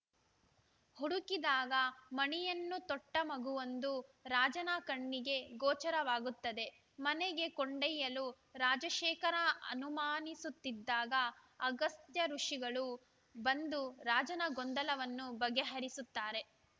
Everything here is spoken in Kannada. ಹುಡುಕಿದಾಗ ಮಣಿಯನ್ನು ತೊಟ್ಟಮಗುವೊಂದು ರಾಜನ ಕಣ್ಣಿಗೆ ಗೋಚರವಾಗುತ್ತದೆ ಮನೆಗೆ ಕೊಂಡೊಯ್ಯಲು ರಾಜಶೇಖರ ಅನುಮಾನಿಸುತ್ತಿದ್ದಾಗ ಅಗಸ್ತ್ಯ ಋುಷಿಗಳು ಬಂದು ರಾಜನ ಗೊಂದಲವನ್ನು ಬಗೆಹರಿಸುತ್ತಾರೆ